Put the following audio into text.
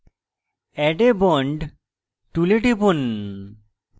add a bond tool টিপুন